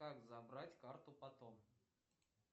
как забрать карту потом